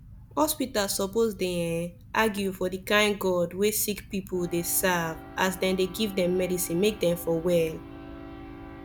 hospitas suppos dey ehnn argue for the kain god wey sicki pple dey serve as dem dey give dem medicine make dem for well